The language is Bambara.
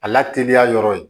A la teliya yɔrɔ ye